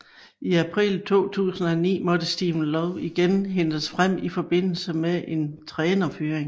I april 2009 måtte Stephen Lowe igen hentes frem i forbindelse med en trænerfyring